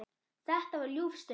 Þetta var ljúf stund.